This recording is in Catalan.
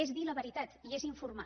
és dir la veritat i és informar